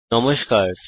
নমস্কার বন্ধুগণ